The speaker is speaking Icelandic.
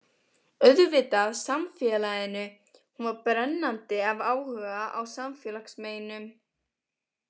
Auðvitað samfélaginu, hún var brennandi af áhuga á samfélagsmeinum.